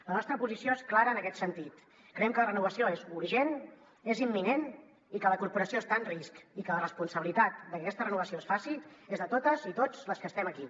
la nostra posició és clara en aquest sentit creiem que la renovació és urgent és imminent i que la corporació està en risc i que la responsabilitat de que aquesta renovació es faci és de totes i tots les que estem aquí